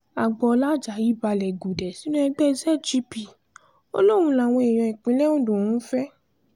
agboola ajayi balẹ̀ gùdẹ̀ sínú ẹgbẹ́ zgp ó lóun làwọn èèyàn ìpínlẹ̀ ondo ń fẹ́